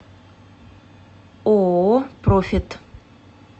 ооо профит